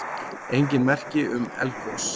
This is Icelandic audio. Engin merki um eldgos